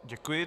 Děkuji.